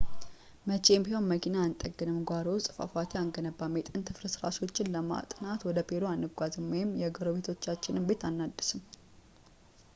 መቼም ቢሆን መኪና አንጠግንም ጓሮ ውስጥ ፏፏቴ አንገነባም የጥንት ፍርስራሾችን ለማጥናት ወደ ፔሩ አንጓዝም ወይም የጎረቤቶቻችንን ቤት አናድስም